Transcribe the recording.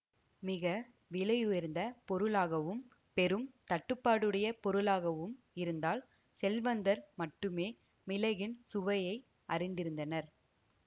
மிக விலையுயர்ந்த பொருளாகவும் பெரும் தட்டுப்பாடுடைய பொருளாகவும் இருந்தால் செல்வந்தர் மட்டுமே மிளகின் சுவையை அறிந்திருந்தனர்